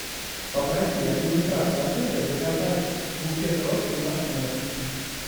попроси администратора отеля заказать букет роз в наш номер